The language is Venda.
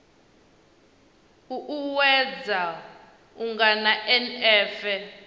u uuwedza u angana na nf